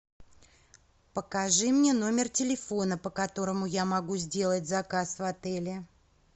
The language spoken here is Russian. покажи мне номер телефона по которому я могу сделать заказ в отеле